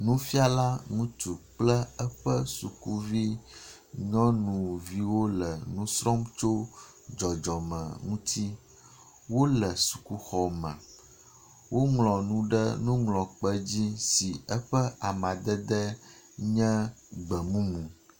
Nufiala ŋutsu kple eƒe sukuvi nyɔnuviwo le nu srɔ̃m tso dzɔdzɔme ŋuti. Wole sukuxɔ. Woŋlɔ nu ɖe nuŋlɔkpe dzi si eƒe amadede nye gbemumu